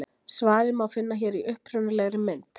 svarið má finna hér í upprunalegri mynd